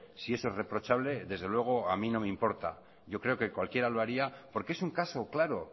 si eso es reprochable desde luego a mí no me importa yo creo que cualquiera lo haría porque es un caso claro